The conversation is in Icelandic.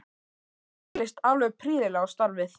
Mér leist alveg prýðilega á starfið.